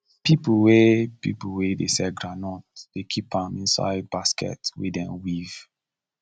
people wey people wey dey sell groundnut dey keep am inside basket wey dem weave